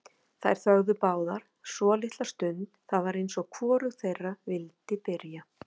Þær þögðu báðar svolitla stund, það var eins og hvorug þeirra vildi byrja.